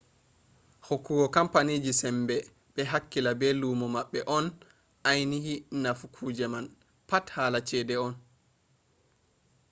hokkugo kampaniji sembe ɓe hakkila be luumo maɓɓe on ainihi nafu kuje man pat hala cede on